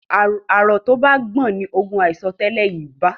arọ to bà gbọn ní ògún aiso tẹlẹ I bá